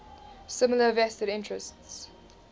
similar vested interests